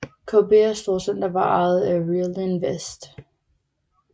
KBS storcenter var ejet af Realinvest